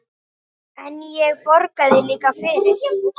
En ég borgaði líka fyrir.